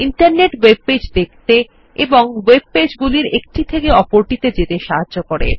internet web page দেখতে এবং web page গুলির একটি থেকে অপরটি যেতে সাহায্য করে